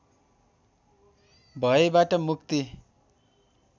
भयबाट मुक्ति